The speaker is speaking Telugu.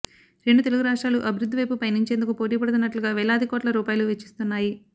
రెండు తెలుగు రాష్ట్రాలు అభివృద్ధివైపు పయనించేందుకు పోటీపడుతున్న ట్లుగా వేలాది కోట్ల రూపాయలు వెచ్చిస్తున్నాయి